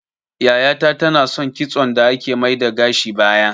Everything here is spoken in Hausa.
Yaya ta ta na son kitson da ake mai da gashi baya